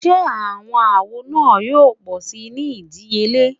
Ṣe awọn awo naa yoo pọ si ni idiyele?